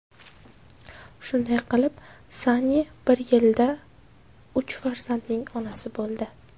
Shunday qilib, Sanni bir yilda uch farzandning onasi bo‘ldi.